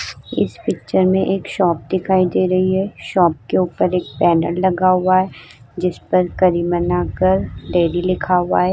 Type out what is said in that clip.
इस पिक्चर में एक शॉप दिखाई दे रही है। शॉप के ऊपर एक बैनर लगा हुआ है जिसपर करी मना कर डेरी लिखा हुआ है।